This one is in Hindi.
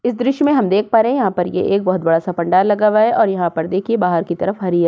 इस दृश्य में हम देख पा रहे यहाँ पर एक बोहोत बड़ा सा पंडाल लगा हुआ है और यहां पर देखिए बाहर की तरफ हरी --